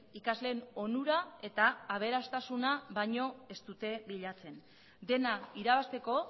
ikasleen onura eta aberastasuna baino ez dute bilatzen dena irabazteko